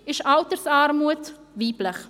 Gleichzeitig ist die Altersarmut weiblich.